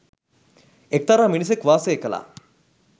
එක්තරා මිනිසෙක් වාසය කළා.